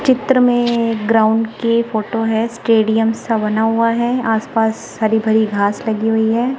चित्र में ग्राउंड के फोटो है स्टेडियम सा बना हुआ है आस पास हरी भरी घास लगी हुई है।